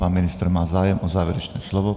Pan ministr má zájem o závěrečné slovo.